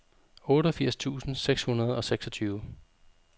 otteogfirs tusind seks hundrede og seksogtyve